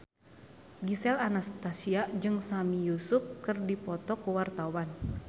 Gisel Anastasia jeung Sami Yusuf keur dipoto ku wartawan